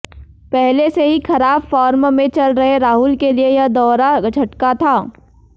पहले से ही खराब फार्म में चल रहे राहुल के लिए यह दोहरा झटका था